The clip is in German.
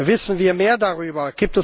Wissen wir mehr darüber?